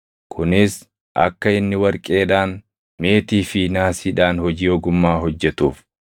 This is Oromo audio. Kunis akka inni warqeedhaan, meetii fi naasiidhaan hojii ogummaa hojjetuuf,